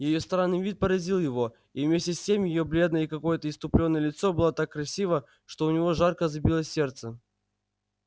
её странный вид поразил его и вместе с тем её бледное и какое-то исступлённое лицо было так красиво что у него жарко забилось сердце